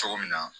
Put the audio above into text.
Cogo min na